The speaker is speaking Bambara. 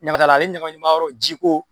Ɲagami t'a la ni ɲagamiman yɔrɔ ye jiko